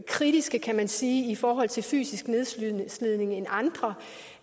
kritiske kan man sige i forhold til fysisk nedslidning end andre